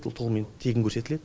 ол толығымен тегін көрсетіледі